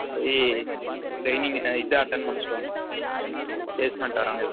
போய் trainig ஆ இது attend பன்ன சொல்லுவாங்க placement வரவங்க